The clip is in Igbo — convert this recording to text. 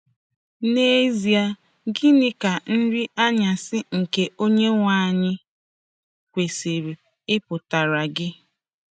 N'ezie, gịnị ka Nri Anyasị nke Onyenwe Anyị kwesịrị ịpụtara gị?